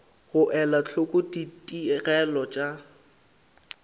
go ela hloko ditigelo tša